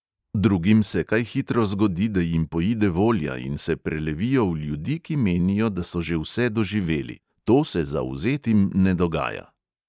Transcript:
Drugim se kaj hitro zgodi, da jim poide volja in se prelevijo v ljudi, ki menijo, da so že vse doživeli; to se zavzetim ne dogaja.